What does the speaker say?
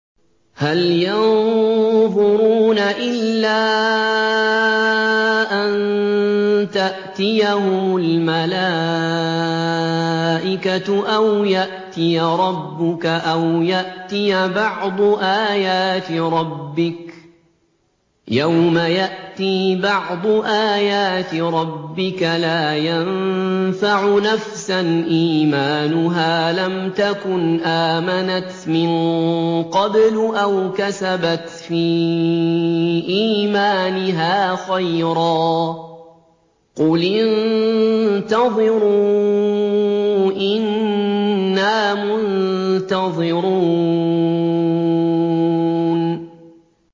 هَلْ يَنظُرُونَ إِلَّا أَن تَأْتِيَهُمُ الْمَلَائِكَةُ أَوْ يَأْتِيَ رَبُّكَ أَوْ يَأْتِيَ بَعْضُ آيَاتِ رَبِّكَ ۗ يَوْمَ يَأْتِي بَعْضُ آيَاتِ رَبِّكَ لَا يَنفَعُ نَفْسًا إِيمَانُهَا لَمْ تَكُنْ آمَنَتْ مِن قَبْلُ أَوْ كَسَبَتْ فِي إِيمَانِهَا خَيْرًا ۗ قُلِ انتَظِرُوا إِنَّا مُنتَظِرُونَ